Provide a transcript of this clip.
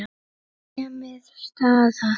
Nemið staðar!